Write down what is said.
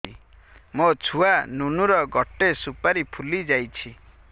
ମୋ ଛୁଆ ନୁନୁ ର ଗଟେ ସୁପାରୀ ଫୁଲି ଯାଇଛି